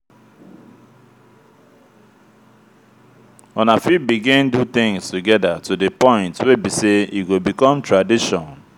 una fit begin do things together to di point wey be sey e go become tradition